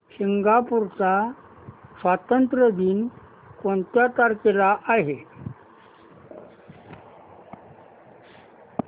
Singapore चा स्वातंत्र्य दिन कोणत्या तारखेला आहे